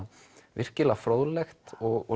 virkilega fróðlegt og